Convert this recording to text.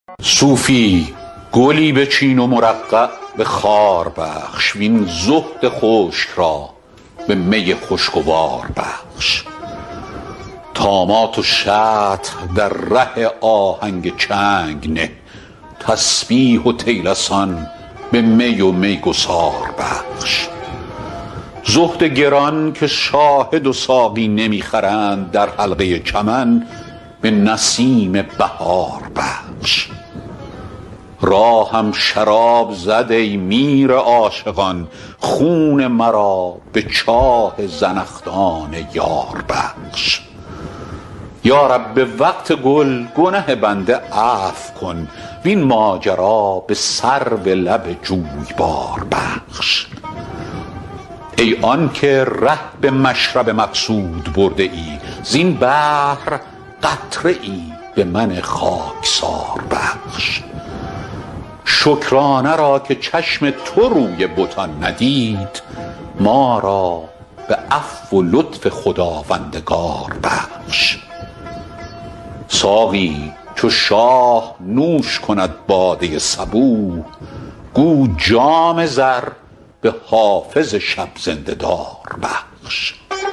صوفی گلی بچین و مرقع به خار بخش وین زهد خشک را به می خوشگوار بخش طامات و شطح در ره آهنگ چنگ نه تسبیح و طیلسان به می و میگسار بخش زهد گران که شاهد و ساقی نمی خرند در حلقه چمن به نسیم بهار بخش راهم شراب لعل زد ای میر عاشقان خون مرا به چاه زنخدان یار بخش یا رب به وقت گل گنه بنده عفو کن وین ماجرا به سرو لب جویبار بخش ای آن که ره به مشرب مقصود برده ای زین بحر قطره ای به من خاکسار بخش شکرانه را که چشم تو روی بتان ندید ما را به عفو و لطف خداوندگار بخش ساقی چو شاه نوش کند باده صبوح گو جام زر به حافظ شب زنده دار بخش